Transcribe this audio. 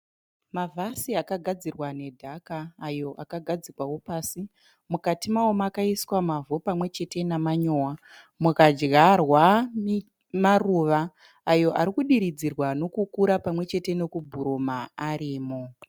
Mavhasi akagadzirwa nedhaka ayo agadzikwawo pasi. Mukati mawo makaiswa mavhu pamwechete nemanyowa, mukadyarwa maruva ayo ari kudiridzirwa nekukura pamwechete nekubhuruma arimo